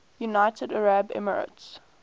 united arab emirates